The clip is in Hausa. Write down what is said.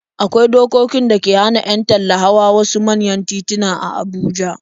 Akwai dokokin da ke hana 'yan talla hawa wasu manyan tituna a Abuja.